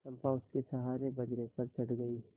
चंपा उसके सहारे बजरे पर चढ़ गई